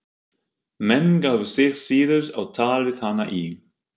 Menn gáfu sig síður á tal við hana í